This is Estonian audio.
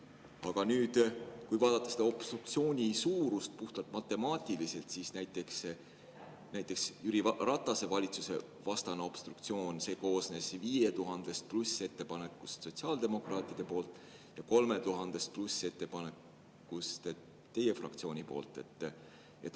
Aga nüüd, kui vaadata seda obstruktsiooni suurust puhtalt matemaatiliselt, siis näiteks Jüri Ratase valitsuse vastane obstruktsioon koosnes enam kui 5000 ettepanekust sotsiaaldemokraatidelt ja enam kui 3000 ettepanekust teie fraktsioonilt.